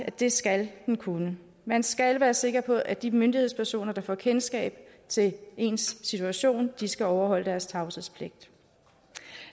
at det skal man kunne man skal være sikker på at de myndighedspersoner der får kendskab til ens situation skal overholde deres tavshedspligt